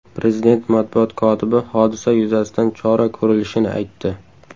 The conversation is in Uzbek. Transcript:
Prezident matbuot kotibi hodisa yuzasidan chora ko‘rilishini aytdi.